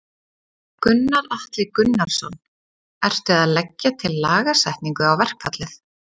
Gunnar Atli Gunnarsson: Ertu að leggja til lagasetningu á verkfallið?